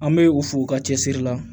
An bɛ u fo u ka cɛsiri la